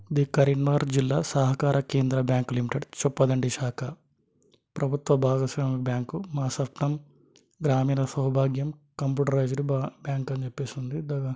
ఇది కరీంనగర్ జిల్లా సహకార కేంద్ర బ్యాంక్ లిమిటెడ్ చొప్ప దండి శాఖ ప్రభుత్వ భాగస్వామి బ్యాంకు మా స్వప్నం గ్రామీన్ షౌభాగ్యం కంప్యూటరైజ్డ్ బా-బ్యాంకు అని చెప్పేసి ఉంది.